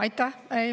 Aitäh!